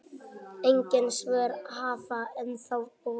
Engin svör hafa ennþá borist.